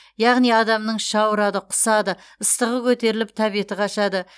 яғни адамның іші ауырады құсады ыстығы көтеріліп тәбеті қашады